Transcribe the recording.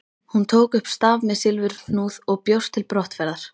Hún tók upp staf með silfurhnúð og bjóst til brottferðar.